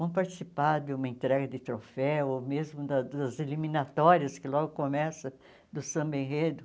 Vão participar de uma entrega de troféu, ou mesmo da das eliminatórias que logo começam do Samba Enredo.